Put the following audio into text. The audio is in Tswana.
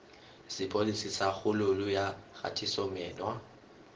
sepodisi sa kgololo ya kgatisomenwa